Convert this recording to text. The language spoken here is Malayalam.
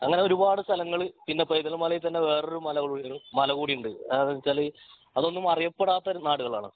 അങ്ങിനെ ഒരുപാട് സ്ഥലങ്ങൾ പിന്നെ പൈതൽ മലയിൽ തന്നെ വേറൊരു മല കൂടി ഉണ്ട് അതെന്തെന്നുവെച്ചാൽ അതൊന്നും അറിയപ്പെടാത്ത ഒരു നാടുകളാണ്